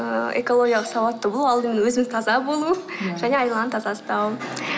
ыыы экологиялық сауатты болу алдымен өзіміз таза болу және айналаны таза ұстау